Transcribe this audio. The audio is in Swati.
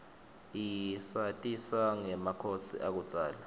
isatisa ngemakhosi akudzala